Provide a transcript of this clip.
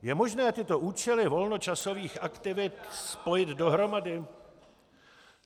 Je možné tyto účely volnočasových aktivit spojit dohromady?